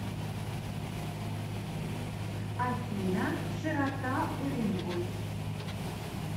афина широта уренгой